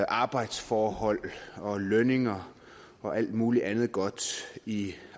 arbejdsforhold og lønninger og alt muligt andet godt i